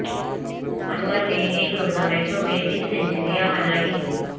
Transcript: انور نے ایک روزہ میچوں میں بیس سینچریاں بنائیں